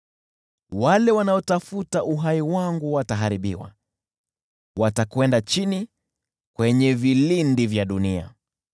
Wale wanaotafuta uhai wangu wataharibiwa, watakwenda chini kwenye vilindi vya dunia.